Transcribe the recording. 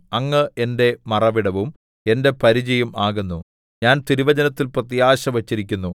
അങ്ങ് എന്റെ മറവിടവും എന്റെ പരിചയും ആകുന്നു ഞാൻ തിരുവചനത്തിൽ പ്രത്യാശ വച്ചിരിക്കുന്നു